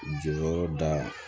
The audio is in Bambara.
Jɔyɔrɔ da